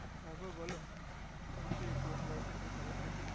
তার পর বোলো তোমার সেই পুরানো boyfriend তা খবর কি